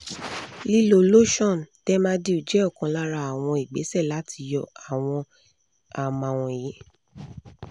lílò lotion dermadew jẹ́ ọ̀kan lára àwọn ìgbésẹ̀ láti yọ àwọn àámá wọ̀nyí